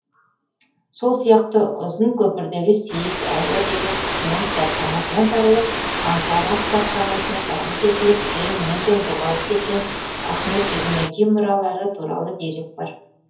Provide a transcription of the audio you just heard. сол сияқты ұзын көпірдегі сейіт әлі деген кісінің кітапханасынан табылып анкара кітапханасына табыс етіліп кейін мүлдем жоғалып кеткен ахмед иүгінеки мұралары туралы дерек бар